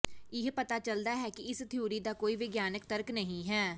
ਇਹ ਪਤਾ ਚਲਦਾ ਹੈ ਕਿ ਇਸ ਥਿਊਰੀ ਦਾ ਕੋਈ ਵਿਗਿਆਨਿਕ ਤਰਕ ਨਹੀਂ ਹੈ